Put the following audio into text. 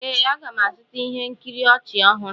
Ee, m ga-azụta ihe nkiri ọchị ọhụrụ.